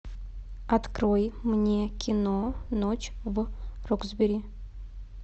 открой мне кино ночь в роксбери